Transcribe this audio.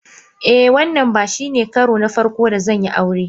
Eh, wannan ba shine karo na farko da zan yi aure.